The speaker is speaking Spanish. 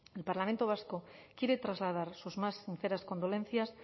el parlamento vasco quiere trasladar sus más sinceras condolencias